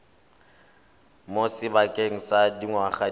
mo sebakeng sa dingwaga di